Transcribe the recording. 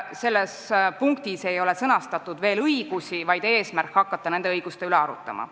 Selles punktis ei ole sõnastatud õigusi, eesmärk on hakata nende õiguste üle arutlema.